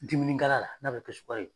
Dimininkala la n'a bɛ kɛ sukaro ye.